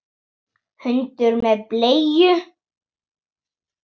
Hundur með bleiu!